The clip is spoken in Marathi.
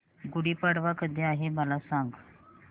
गुढी पाडवा कधी आहे मला सांग